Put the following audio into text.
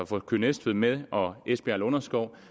få køge næstved med og esbjerg lunderskov